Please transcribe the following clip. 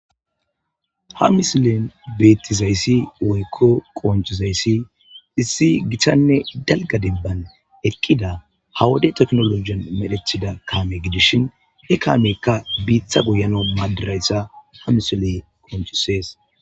Ha misilen beetizayssi woykko qoncizayssi issi gitanne dalga denban eqqida ha wode teknolojen medhetida kaame gidishin he kaameykka biita goyanaw maadizaysa ha misiley qoncises.